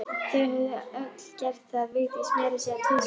Þau höfðu öll gert það, Vigdís meira að segja tvisvar.